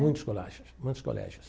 Muitos colégios, muitos colégios.